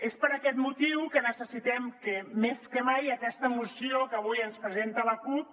és per aquest motiu que necessitem que més que mai aquesta moció que avui ens presenta la cup